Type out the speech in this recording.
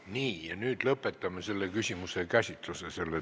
Selle teadmisega lõpetame selle küsimuse käsitluse.